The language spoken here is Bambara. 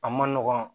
A man nɔgɔn